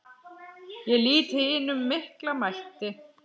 Ég lýt hinum mikla mætti.